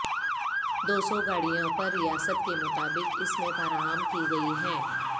دو سو گاڑیوں پر ریاست کے مطابق اس میں فراہم کی گئی ہیں